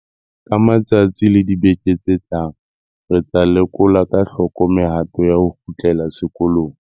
Ka matsatsi le dibeke tse tlang re tla lekola ka hloko mehato ya ho kgutlela sekolong.